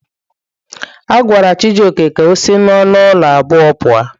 A gwara Chijioke ka o si n'ọnụ ụlọ abụọ a puo.